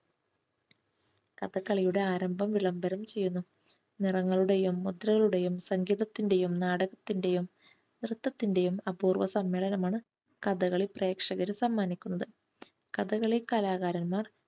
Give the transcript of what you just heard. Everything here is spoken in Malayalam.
കഥകളിയുടെ ആരംഭം വിളംബരം ചെയ്യുന്നു. നിറങ്ങളുടെയും മുദ്രയുടേയും സംഗീതത്തിന്റെയും നാടകത്തിന്റെയും നൃത്തത്തിന്റെയും അപൂർവ്വ സമ്മേളനമാണ് കഥകളി പ്രേക്ഷകർ സമ്മാനിക്കുന്നത്. കഥകളി കലാകാരൻമാർ